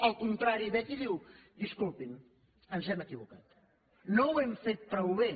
al contrari ve aquí i diu disculpin ens hem equivocat no ho hem fet prou bé